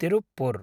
Tiruppur